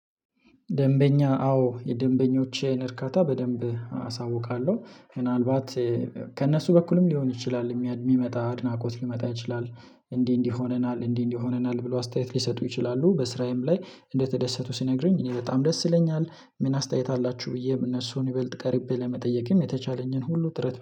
ደንበኛ አዎ የደንበኞችን እርካታ በደንብ አሳውቃለሁ ምናልባት ከእነሱ በኩልም ሊሆን ይችላል የሚመጣ አድናቆት ሊመጣ ይችላል። እንዲህ እንዲህ ሆነናል እንዲህ እንዲህ ሆነናል ብሎ አስተያየት ሊሰጡ ይችላሉ። በስራዬም ላይ እንደተደሰቱ ሲነግሩኝ እኔ በጣም ደስ ይለኛል። ምን አስተያየት አላችሁ ብዬ እነሱን ይበልጥ ቀርቤ ለመጠየቅም የተቻለኝን ሁሉ ጥረት